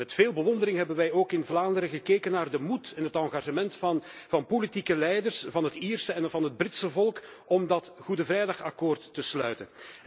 Met veel bewondering hebben wij ook in Vlaanderen gekeken naar de moed en het engagement van politieke leiders van het Ierse en het Britse volk om dat Goede Vrijdagakkoord te sluiten.